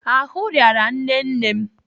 Ahụ rịara nne nne m.